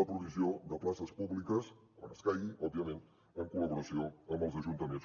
la provisió de places públiques quan escaigui òbviament en col·laboració amb els ajuntaments